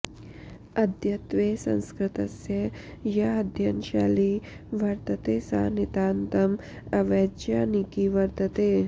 अद्यत्वे संस्कृतस्य या अध्ययनशैली वर्तते सा नितान्तम् अवैज्यानिकी वर्तते